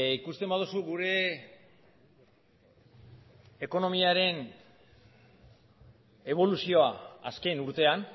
ikusten baduzu gure ekonomiaren eboluzioa azken urtean